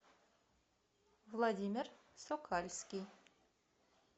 владимир сокальский